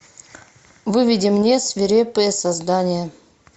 выведи мне свирепые создания